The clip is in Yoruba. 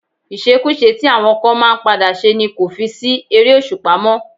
Ìṣekúṣe tí àwọn kan máa ń padà ṣe ni kò fi sí ère-òṣùpá mó.